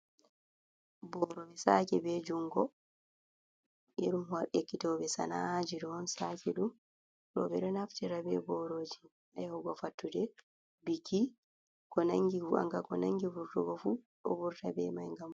Boroɓe saki be jungo. Irin ekkitoɓe sana, a ji ɗo on saki ɗum. Ɗo ɓeɗo naftira be boroji ha yahugo fattude, bukii, ankam ko nangi vurtugofu do vurta be mai ngam.